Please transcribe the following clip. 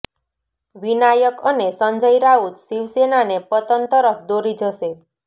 વિનાયક અને સંજય રાઉત શિવસેનાને પતન તરફ દોરી જશે